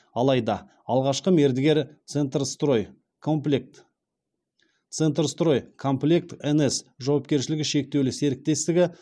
алайда алғашқы мердігер центрстрой комплект центрстрой комплект нс жауапкершілігі шектеулі серіктестігі